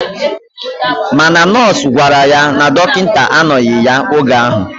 Mana nọọsụ gwara ya na dokita anoghi ya oge ahu.